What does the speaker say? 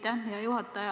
Aitäh, hea juhataja!